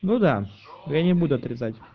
ну да я не буду отрицать